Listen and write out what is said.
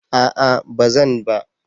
A'a bazan ba.